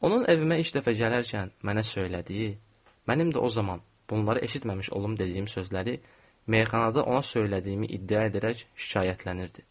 Onun evimə ilk dəfə gələrkən mənə söylədiyi, mənim də o zaman bunları eşitməmiş olum dediyim sözləri meyxanada ona söylədiyimi iddia edərək şikayətlənirdi.